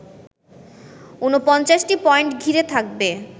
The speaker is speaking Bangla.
৪৯টি পয়েন্ট ঘিরে থাকবে